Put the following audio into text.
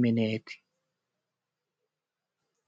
mineti.